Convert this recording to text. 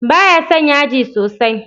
Ba ya son yaji sosai.